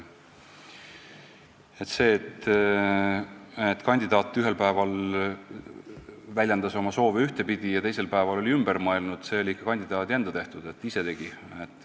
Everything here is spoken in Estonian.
See, et kandidaat ühel päeval väljendas oma soove ühtepidi ja teisel päeval oli ümber mõelnud, oli ikka kandidaadi enda tehtud, ise tegi.